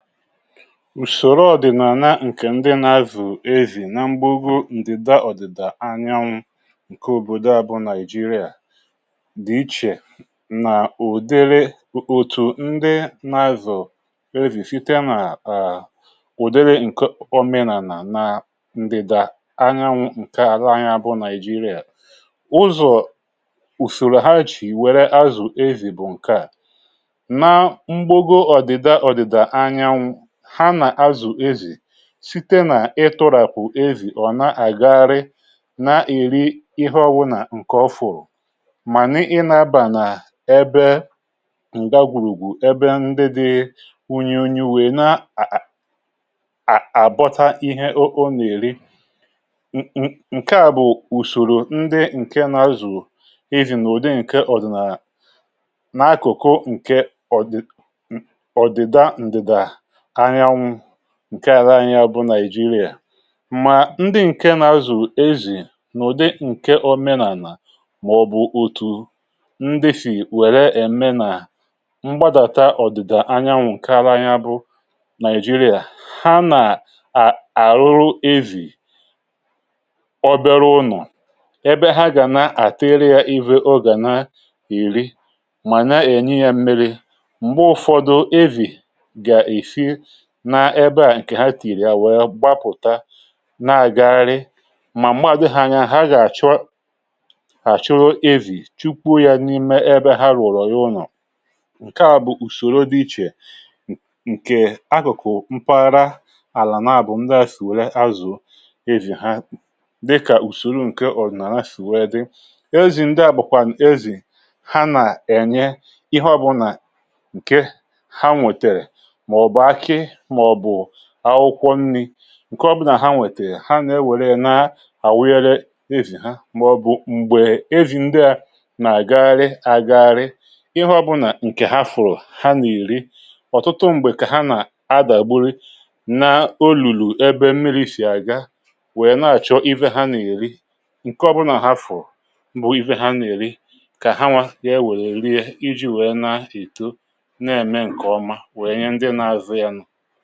ùsòrò ọ̀dị̀nàna ǹkè ndị nà-avù evì nà mgbụgo ndịda ọ̀dị̀da anyanwụ ǹke òbòdò àbụọ nigeria dị̀ ichè nà ùdere òtù ndị nà-azụ̀ evì sịte nà à ụ̀dịrị ǹkọ omenà nà nà ndịdà anyanwụ ǹke àrà anya abụọ nigeria ụzọ̀ ùsòrò hachì wère azụ̀ evì bụ̀ ǹke à site n’ịtụràkụ̀ ezì ọ̀ na-àgagharị na-èri ihe ọwụ̇ nà ǹkè ọfụrụ̀ mà n’ịnȧbà n’ebe ǹgagwùrùgwù ebe ndị dị wunye onye wèe na à à à àbọta ihe o nà-èri ǹkè a bụ̀ ùsòrò ndị ǹke nà-azụ̀ ezì nà ụ̀dị ǹke ọ̀dị̀nà nà-akụ̀kụ ǹke ọ̀dị̀dà anyaanwụ ǹke ara anyi abụ nàịjirịà mà ndị ǹke nà-azụ ezì n’ụ̀dị ǹke omenàlà màọ̀bụ̀ òtù ndị fì wère èmenà gbadàta ọ̀dị̀dà anyanwụ̇ ǹke ara anyi abụ nàịjirịà ha nà à rụrụ evì ọbịȧrụ ụnọ̀ ebe ha gà na-àtịrị ya ịvụ ọ gà na-èri mà na-ènye ya mmiri̇ m̀gbe ụ̀fọdụ evì nà ebe à ǹkè ha tìrì yà wèe gbapụ̀ta na-àgagharị mà m̀madụ̇ hȧ ya ha gà-àchụ hà chụrụ evì chukwu̇ ya n’ime ebe ha rụ̀rụ̀ ya ụnọ̀ ǹkè a bụ̀ ùsòro dị ichè ǹkè akụ̀kụ̀ mpaghara àlà nà a bụ̀ ndị à sìwèrè azụ̀ ebì ha dịkà ùsòro ǹkè ọ̀nàrà sìwèrè dị ezi ndị à bụ̀kwà ǹkè ezi ha nà-ènye ịhọ̇ bụ̀ nà ǹke ha nwètèrè maọ̀bụ̀ akwụkwọ nni̇ ǹke ọbụnà ha nwètèrè ha nwèrè na-awịere ezì ha màọ̀bụ̀ m̀gbè m̀gbè ezì ndịȧ nà-àgagharị àgagharị ịhụ̇ ọbụnà ǹkè hafụ̀rụ̀ ha nà-èri ọ̀tụtụ m̀gbè kà ha nà-adàgburu n’olùlù ebe mmiri̇ sì àga wèe na-àchọ iwe ha nà-èri ǹke ọbụnà hafụ̀rụ̀ bụ̀ iwe ha nà-èri kà ha nwȧ e wèrè rie iji̇ wèe na-èto na-ème ǹkè ọma wèe nye ndị na-azụ̇ ya nụ̇ màkà òdiri speed ahù